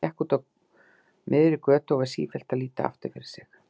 Hann gekk úti á miðri götu og var sífellt að líta aftur fyrir sig.